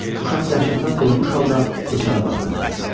Uşaq dəhşətdən donmuş halda bıçağa baxırdı.